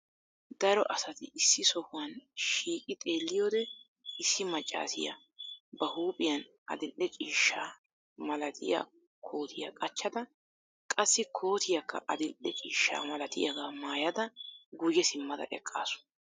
Daro asati issi sohuwan shiiqqi xeeliyode issi maccassiya ba huuphphiyan adil"e ciishshaa malatiya kootiya qaccada qassi kootiyakka adil"e ciishshaa malatiyagaa mayada guyye simmada eqqaasu.